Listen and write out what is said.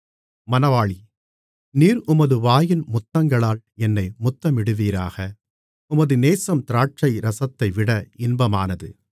நீர் உமது வாயின் முத்தங்களால் என்னை முத்தமிடுவீராக உமது நேசம் திராட்சைரசத்தைவிட இன்பமானது